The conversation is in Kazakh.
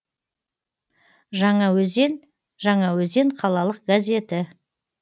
жаңаөзен жаңаөзен қалалық газеті